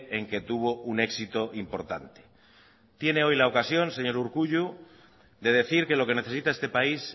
en que tuvo un éxito importante tiene hoy la ocasión señor urkullu de decir que lo que necesita este país